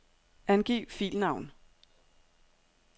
Angiv filnavn.